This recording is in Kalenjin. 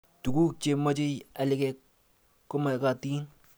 Tuguk Che mochei alik komakatin